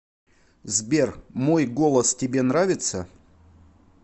сбер мой голос тебе нравится